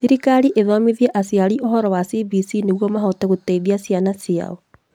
Thirikari ĩthomithie aciari ũhoro wa CBC nĩguo mahote gũteithia ciana ciao